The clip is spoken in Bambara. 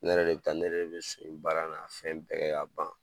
Ne yɛrɛ de be taa, ne yɛrɛ de be so in baara n'a fɛn bɛɛ kɛ ka ban.